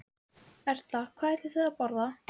Erla: Hvað ætlið þið að borða?